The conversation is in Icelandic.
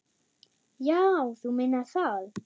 Já, þú meinar það.